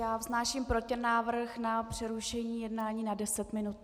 Já vznáším protinávrh na přerušení jednání na 10 minut.